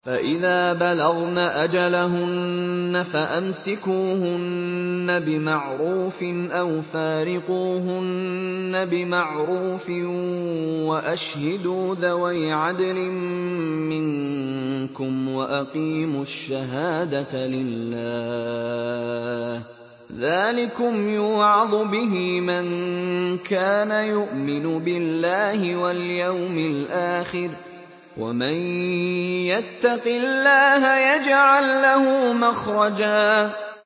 فَإِذَا بَلَغْنَ أَجَلَهُنَّ فَأَمْسِكُوهُنَّ بِمَعْرُوفٍ أَوْ فَارِقُوهُنَّ بِمَعْرُوفٍ وَأَشْهِدُوا ذَوَيْ عَدْلٍ مِّنكُمْ وَأَقِيمُوا الشَّهَادَةَ لِلَّهِ ۚ ذَٰلِكُمْ يُوعَظُ بِهِ مَن كَانَ يُؤْمِنُ بِاللَّهِ وَالْيَوْمِ الْآخِرِ ۚ وَمَن يَتَّقِ اللَّهَ يَجْعَل لَّهُ مَخْرَجًا